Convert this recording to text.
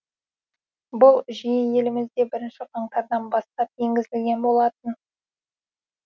бұл жүйе елімізде бірінші қаңтардан бастап енгізілген болатын